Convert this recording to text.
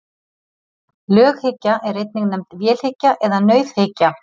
Löghyggja er einnig nefnd vélhyggja eða nauðhyggja.